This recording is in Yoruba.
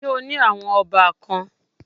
Ṣé o ní àwọn ọbàkan?